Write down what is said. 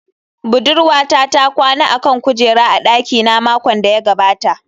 Budurwata ta kwana a kan kujera a dakina makon da ya gabata